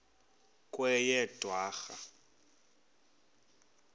kweyedwarha